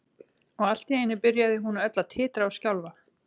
Og allt í einu byrjaði hún öll að titra og skjálfa.